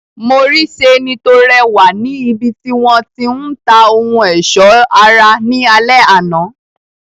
Mo rí seeni to rẹwà ni ibiti wọn ti ń ta ohun ọsọ ara ní alẹ àná.